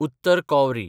उत्तर कॉवरी